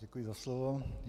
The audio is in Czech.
Děkuji za slovo.